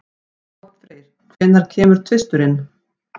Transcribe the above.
Oddfreyr, hvenær kemur tvisturinn?